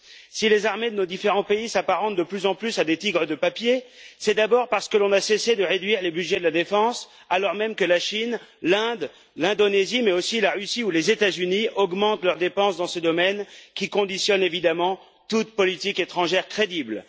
Si les armées de nos différents pays s'apparentent de plus en plus à des tigres de papier, c'est d'abord parce que l'on n'a cessé de réduire les budgets de la défense, alors même que la Chine, l'Inde, l'Indonésie, mais aussi la Russie ou les États Unis augmentent leurs dépenses dans ce domaine, qui conditionne évidemment toute politique étrangère crédible.